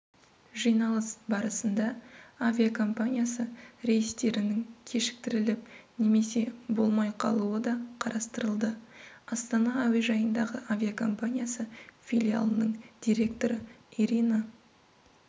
жиналыс барысында авиакомпаниясы рейстерінің кешіктіріліп немесе болмай қалуы да қарастырылды астана әуежайындағы авиакомпаниясы филиалының директоры ирина